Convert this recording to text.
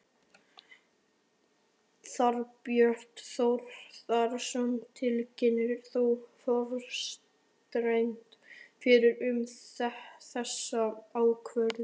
Þorbjörn Þórðarson: Tilkynntir þú forsætisráðherra fyrirfram um þessa ákvörðun?